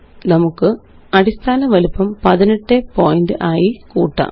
നമുക്ക് അടിസ്ഥാന വലിപ്പം 18 പോയിന്റ് ആയി കൂട്ടാം